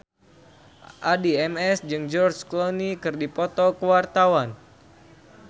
Addie MS jeung George Clooney keur dipoto ku wartawan